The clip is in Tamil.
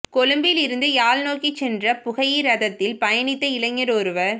கொழும்பில் இருந்து யாழ் நோக்கி சென்ற புகையிரதத்தில் பயணித்த இளைஞர் ஒருவர்